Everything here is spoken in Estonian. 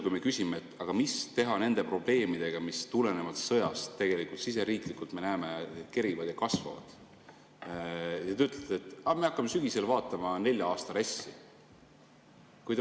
Kui me küsime, mida teha nende probleemidega, mis tulenevalt sõjast siseriiklikult kerivad ja kasvavad, ütlete vastuseks, et aga me hakkame sügisel vaatama nelja aasta RES‑i.